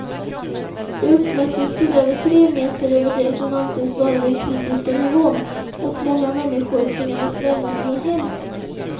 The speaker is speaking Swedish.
Det uppmättes till över tre meter över det som anses vara den kritiska nivån, och många människor tvingades lämna sina hem.